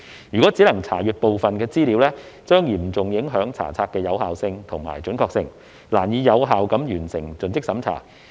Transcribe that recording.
如只能查閱部分資料，將嚴重影響查冊的有效性和準確性，難以有效地完成盡職審查。